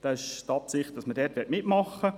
Es besteht die Absicht, dort mitzuwirken.